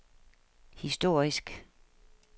historisk